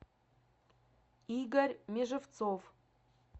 игорь межевцов